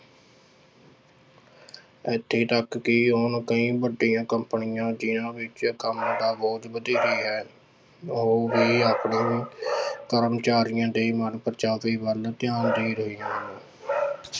ਇੱਥੇ ਤੱਕ ਕਿ ਹੁਣ ਕਈ ਵੱਡੀਆਂ ਕੰਪਨੀਆਂ ਦੇ ਵਿੱਚ ਕੰਮ ਤਾਂ ਬਹੁਤ ਵਧੇਰੇ ਹੈ, ਉਹ ਵੀ ਆਪਣੇ ਕਰਮਚਾਰੀਆਂ ਦੇ ਮਨਪ੍ਰਚਾਵੇ ਵੱਲ ਧਿਆਨ ਦੇ ਰਹੇ ਹਨ